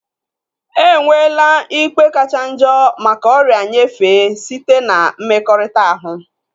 Enwela ikpe kachanjo maka ọrịa nyefee site na mmekọrịta ahu